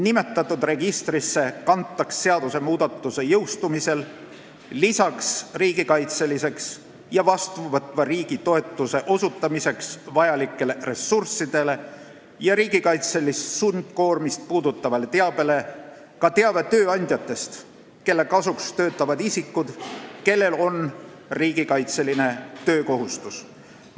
Nimetatud registrisse kantakse seadusmuudatuse jõustumise korral lisaks riigikaitseks ja vastuvõtva riigi toetuse osutamiseks vajalikele ressurssidele ja riigikaitselist sundkoormist puudutavale teabele ka teave tööandjate kohta, kelle kasuks töötavad isikud, kellel on riigikaitseline töökohustus.